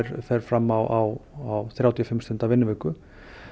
fer fram á þrjátíu og fimm stunda vinnuviku